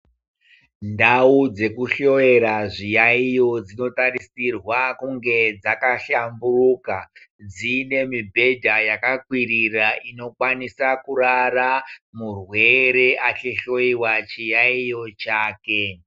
Ndau dzekuhloyera zviyayiyo dzinotarisirwa kunge dzakahlambuka. Dzine mibhedha yakakwirira inokwanisa kurara murwere achihloyiwa chiyayiyo chake.